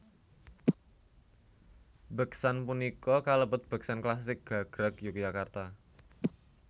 Beksan punika kalebet beksan klasik gagrag Yogyakarta